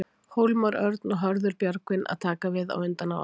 Hólmar Örn og Hörður Björgvin að taka við á undan áætlun?